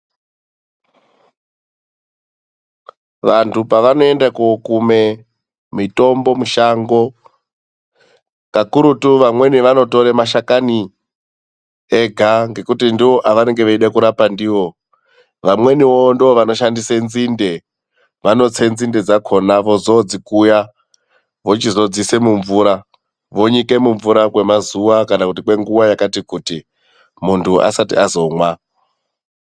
Vantu pavanoenda kundo kume mitombo mushango, kakurutu vamweni vanotora mashakani ega ngekuti ndoavanenge veida kurapa ndiwo, vamweniwo ndovanoshandisa nzinde, vanotse nzinde dzakhona, vozondodzikuya vozodziise mumvura, vonyike mumvura kwenguva yakati kuti muntu asati azomwa.